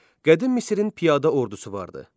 Qədim Misrin piyada ordusu vardı.